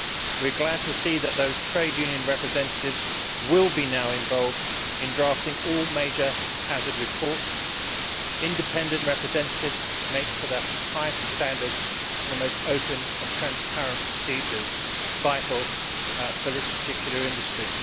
We are glad to see that those trade union representatives will now be involved in drafting all major hazard reports. Independent representatives make for the highest of standards and the most open of transparent procedures, vital for this particular industry.